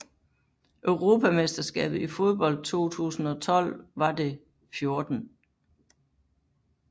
Europamesterskabet i fodbold 2012 var det 14